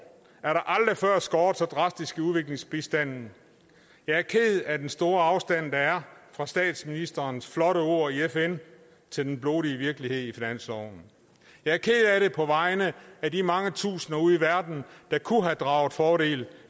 er der aldrig før skåret så drastisk i udviklingsbistanden jeg er ked af den store afstand der er fra statsministerens flotte ord i fn til den blodige virkelighed i finansloven jeg er ked af det på vegne af de mange tusinder ude i verden der kunne have draget fordel